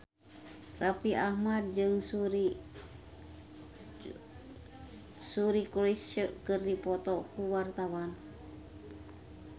Raffi Ahmad jeung Suri Cruise keur dipoto ku wartawan